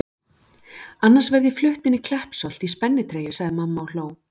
Annars verð ég flutt inn í Kleppsholt í spennitreyju sagði mamma og hló.